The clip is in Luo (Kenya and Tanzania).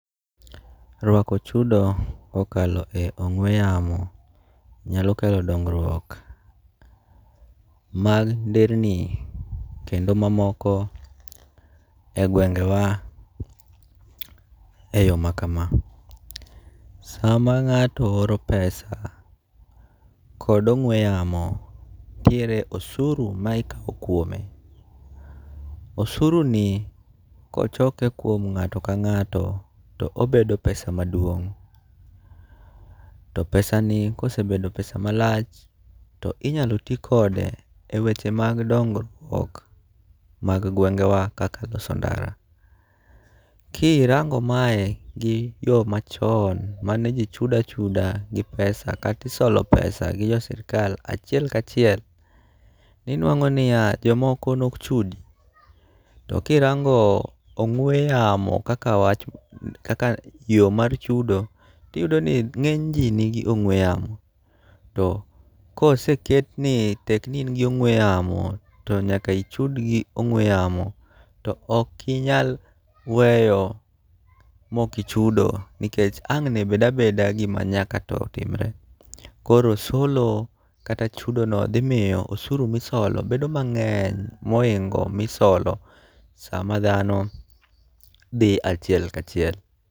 Rwako chudo kokalo e ong'we yamo nyalo kelo dongruok mag nderni kendo mamoko e gwenge wa e yo ma kama. Sama ng'ato oro pesa kod ong'we yamo, ntiere osuru ma ikawo kuome. Osuru ni kochoke kuom ng'ato ka ng'ato to obedo pesa maduong'. To pesa ni kosebedo pesa ma lach to inyalo ti kode e weche mag dongruok mag gwenge wa kaka loso ndara. Ki rango mae gi yo machon mane ji chuda chuda gi pesa katisolo pesa gi jo sirikal achiel kachiel, ni nwang'o niya, jomoko nok chudi. To kirango ong'we yamo kaka yo mar chudo tiyudo ni ng'eny ji nigi ong'we yamo to koseket ni tek ni in gi ong'we yamo, to nyaka ichud gi ong'we yamo. To okinyal weyo mokichudo nikech ang'ne bed abeda gima nyaka to timre. Koro solo kata chudo no dhi miyo osuru misolo bedo mang'eny mohingo misolo sama dhano dhi achiel kachiel.